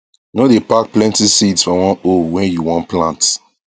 no dae pack plenty seeds for one hole wen you wan plant